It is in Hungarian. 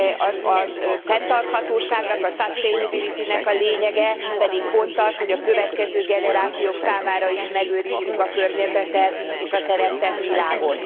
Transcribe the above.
A fenntarthatóságnak, a sustainability nek a lényege pedig pont az, hogy a következő generációk számára is megőrizzük a környezetet, és a teremtett világot.